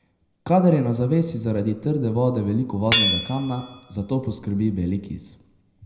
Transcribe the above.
Kadar je na zavesi zaradi trde vode veliko vodnega kamna, za to poskrbi beli kis.